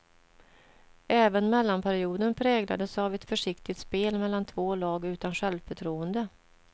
Även mellanperioden präglades av ett försiktigt spel mellan två lag utan självförtroende.